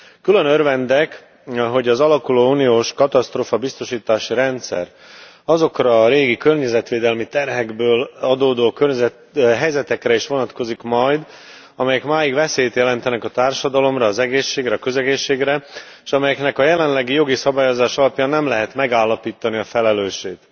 Külön örvendek, hogy az alakuló uniós katasztrófabiztosítási rendszer azokra a régi környezetvédelmi terhekből adódó helyzetekre is vonatkozik majd, amelyek máig veszélyt jelentenek a társadalomra, az egészségre, a közegészségre, és amelyeknek a jelenlegi jogi szabályozása alapján nem lehet megállapítani a felelősét.